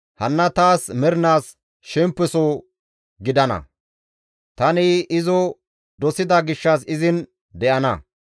«Hanna taas mernaas shempposo gidana; tani izo dosida gishshas izin de7ana.